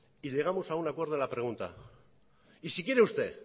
y llegamos a un acuerdo a la pregunta y si quiere usted